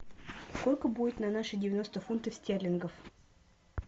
сколько будет на наши девяносто фунтов стерлингов